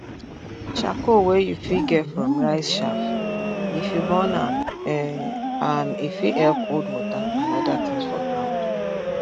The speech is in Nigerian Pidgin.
charcoal wey you fit get from rice chaff if you burn am e am e fit help hold water and oda tins for ground